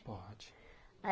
Pode.